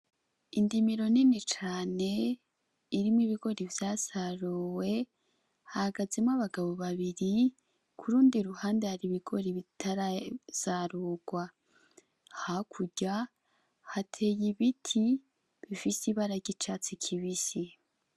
Indimiro nini cane irimwo ibigori vyasaruwe hahagazemwo abagabo babiri kurundi ruhande hari ibigori bitarasarugwa, hakurya hateye ibiti bifise ibara ry'icatsi kibisi.